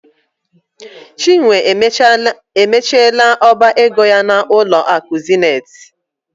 Chinwe emechiela ọba ego ya n'ụlọ akụ Zenith.